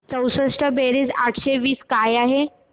चौसष्ट बेरीज आठशे वीस काय आहे